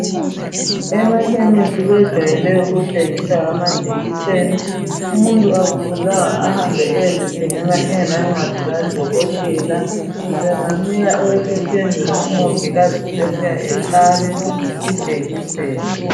Emakhemisi kwejwayele ukuthengiswa amajekiseni . Umuntu akufuzanga ahambe ayezithengela engela ncwadi kaDokotela. Bengamnika ebesephenduka u Mongikazi ebuya ehlabe ijekiseni.